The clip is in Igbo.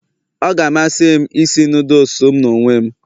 Ọ ga-amasị m isi noodles m n'onwe m